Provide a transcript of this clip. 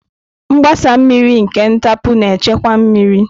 Mgbasa mmiri nke ntapu na-echekwa mmiri.